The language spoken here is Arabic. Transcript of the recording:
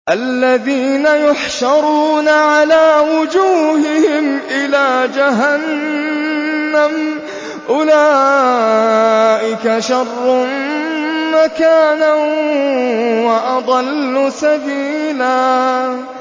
الَّذِينَ يُحْشَرُونَ عَلَىٰ وُجُوهِهِمْ إِلَىٰ جَهَنَّمَ أُولَٰئِكَ شَرٌّ مَّكَانًا وَأَضَلُّ سَبِيلًا